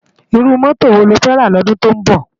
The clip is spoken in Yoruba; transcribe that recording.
Irú mòtó wó ló fè rá lòdún tó nbò?